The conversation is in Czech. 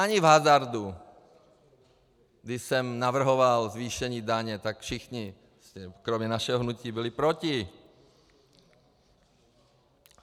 Ani v hazardu, když jsem navrhoval zvýšení daně, tak všichni kromě našeho hnutí byli proti.